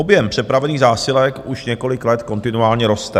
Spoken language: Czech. Objem přepravených zásilek už několik let kontinuálně roste.